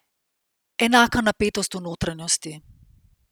Enaka napetost v notranjosti.